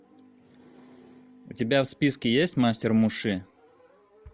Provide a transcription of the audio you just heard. у тебя в списке есть мастер муши